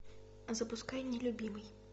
запускай нелюбимый